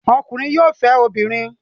Ọkùnrin yóò fẹ́ obìnrin.